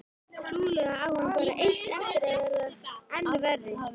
Trúlega á hann bara eftir að verða enn verri.